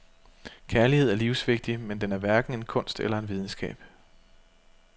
Kærlighed er livsvigtig, men den er hverken en kunst eller en videnskab.